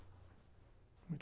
Muito